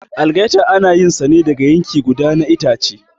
Algaita ana yin sa ne daga yanki guda na itace.